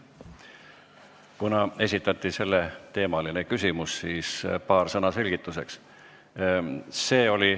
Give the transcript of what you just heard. Kuna sellel teemal esitati küsimus, siis paar sõna selgituseks.